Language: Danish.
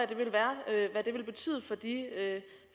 er det vil betyde